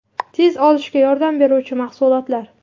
Tez ozishga yordam beruvchi mahsulotlar.